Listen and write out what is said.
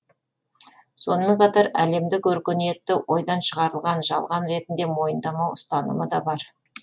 сонымен қатар әлемдік өркениетті ойдан шығарылған жалған ретінде мойындамау ұстанымы да бар